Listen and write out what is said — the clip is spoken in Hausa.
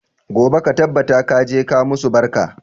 Gobe ka tabbata ka je ka musu barka!